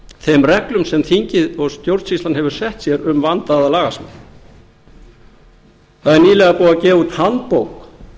þeim reglum sem þingið og stjórnsýslan hefur sett sér um vandaða lagasmíð það er nýlega búið að gefa út handbók